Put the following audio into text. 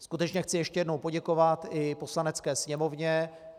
Skutečně chci ještě jednou poděkovat i Poslanecké sněmovně.